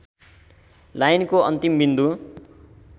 लाइनको अन्तिम बिन्दु